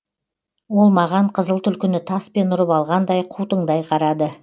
ол маған қызыл түлкіні таспен ұрып алғандай қутыңдай қарады